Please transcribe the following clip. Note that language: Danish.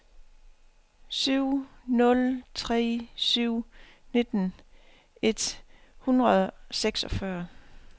syv nul tre syv nitten et hundrede og seksogfyrre